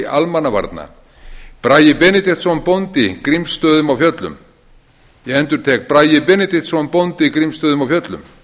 almannavarna bragi benediktsson bóndi grímsstöðum á fjöllum ég endurtek bragi benediktsson bóndi grímsstöðum á fjöllum